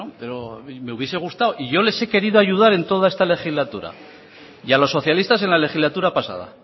pero me hubiese gustado y yo les he querido ayudar en toda esta legislatura y a los socialistas en la legislatura pasada